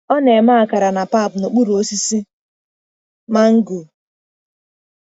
Ọ na-eme akara na pap n'okpuru osisi mango.